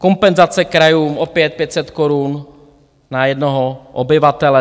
Kompenzace krajům, opět 500 korun na jednoho obyvatele.